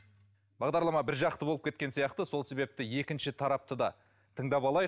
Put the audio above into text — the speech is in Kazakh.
бағдарлама бір жақты болып кеткен сияқты сол себепті екінші тарапты да тыңдап алайық